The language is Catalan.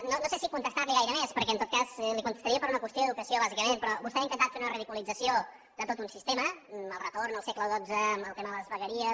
no sé si contestar li gaire més perquè en tot cas li contestaria per una qüestió d’educació bàsicament però vostè ha intentat fer una ridiculització de tot un sistema el retorn al segle xii amb el tema de les vegueries